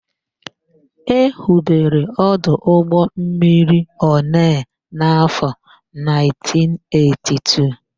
E hubere ọdụ ụgbọmmiri Onee n'áfọ̀ 1982.